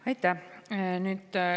Aitäh!